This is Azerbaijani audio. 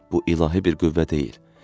Bu ilahi bir qüvvə deyil.